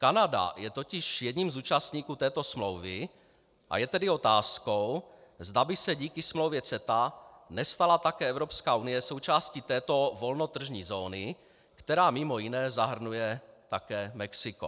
Kanada je totiž jedním z účastníků této smlouvy, a je tedy otázkou, zda by se díky smlouvě CETA nestala také Evropská unie součástí této volnotržní zóny, která mimo jiné zahrnuje také Mexiko.